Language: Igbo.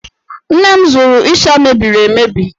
Nne m zụrụ ịsha mebiri emebi.